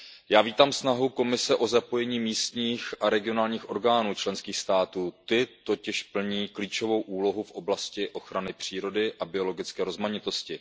Já vítám snahu Komise o zapojení místních a regionálních orgánů členských států, ty totiž plní klíčovou úlohu v oblasti ochrany přírody a biologické rozmanitosti.